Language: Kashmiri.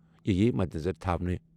تہِ یِیہِ مدنظر تھاونہٕ۔